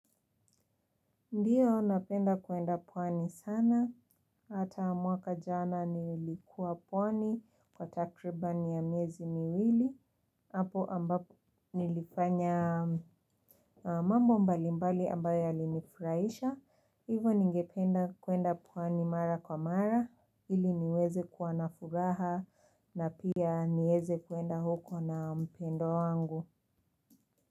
Ndiyo napenda kuenda pwani sana, hata mwaka jana nilikuwa pwani kwa takribani ya miezi miwili, hapo ambapo nilifanya mambo mbalimbali ambayo yalinifuraisha, hivo ningependa kuenda pwani mara kwa mara, ili niweze kuwa nafuraha na pia nieze kuenda huko na mpendwa wangu.